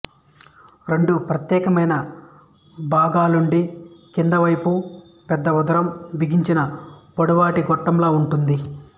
రెండు ప్రత్యేకమైన భాగాలుండి క్రిందవైపు పెద్ద ఉదరం బిగించిన పొడవాటి గొట్టంలా ఉంటుంది